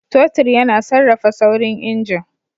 Totir yana sarrafa saurin injin.